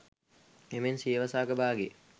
එමෙන්ම සියවස අග භාගයේ